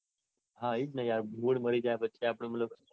હા એજ ને આખો mood મારી જાય પછી મતલબ આપડે